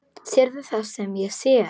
Sérðu það sem ég sé?